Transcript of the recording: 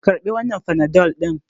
Karɓi wannan panadol ɗin!